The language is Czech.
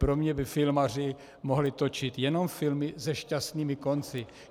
Pro mě by filmaři mohli točit jenom filmy se šťastnými konci.